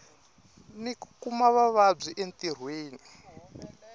ni ku kuma vuvabyi entirhweni